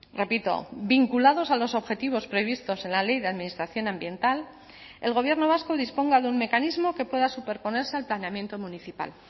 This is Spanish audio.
repito vinculados a los objetivos previstos en la ley de administración ambiental el gobierno vasco disponga de un mecanismo que pueda superponerse al planeamiento municipal